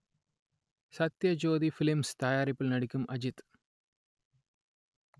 Sathyajothi films தயாரிப்பில் நடிக்கும் அஜித்